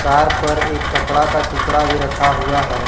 Car पर एक कपड़ा का टुकड़ा भी रखा हुआ है।